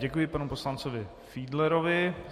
Děkuji panu poslanci Fiedlerovi.